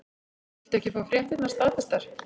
Viltu ekki fá fréttirnar staðfestar?